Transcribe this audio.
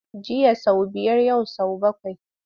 Jiya sau biyar yau sau bakwai.